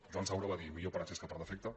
joan saura va dir millor per excés que per defecte